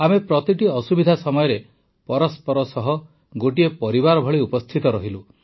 ଆମେ ପ୍ରତିଟି ଅସୁବିଧା ସମୟରେ ପରସ୍ପର ସହ ଗୋଟିଏ ପରିବାର ଭଳି ଉପସ୍ଥିତ ରହିଲୁ